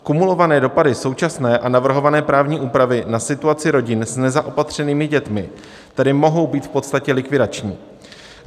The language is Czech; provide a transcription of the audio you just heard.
Kumulované dopady současné a navrhované právní úpravy na situaci rodin s nezaopatřenými dětmi tedy mohou být v podstatě likvidační.